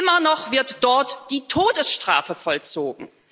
Immer noch wird dort die Todesstrafe vollzogen!